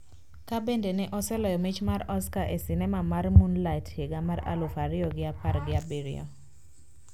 Ka bende ne oseloyo mich mar Oscar e sinema mar Moonlight higa mar aluf ariyo gi apar gi abiriyo